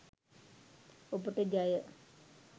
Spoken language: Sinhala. ඔබට ජය!